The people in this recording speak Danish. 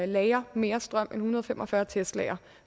lagre mere strøm end en hundrede og fem og fyrre teslaer